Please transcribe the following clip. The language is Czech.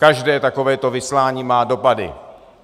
Každé takovéto vyslání má dopady.